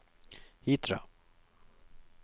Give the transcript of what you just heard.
Hitra